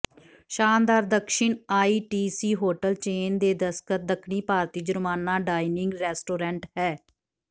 ਸ਼ਾਨਦਾਰ Dakshin ITC hotel chain ਦੇ ਦਸਤਖਤ ਦੱਖਣੀ ਭਾਰਤੀ ਜੁਰਮਾਨਾ ਡਾਇਨਿੰਗ ਰੈਸਟੋਰੈਂਟ ਹੈ